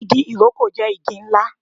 Igi ìrókò jé igi ńlá